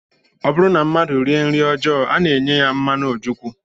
Ọ bụrụ na mmadụ rie nri ọjọọ, a na-enye ya mmanụ ojukwu